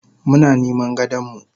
Muna niman gadonmu.